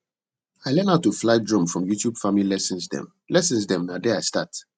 i learn how to fly drone from youtube farming lessons dem lessons dem na there i start